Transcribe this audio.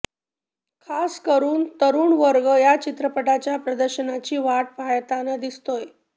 खास करून तरुण वर्ग या चित्रपटाच्या प्रदर्शनाची वाट पाहाताना दिसतोय